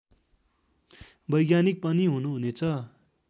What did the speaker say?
वैज्ञानिक पनि हुनुहुनेछ